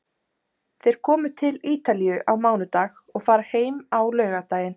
Þeir komu til Ítalíu á mánudag og fara heim á laugardaginn.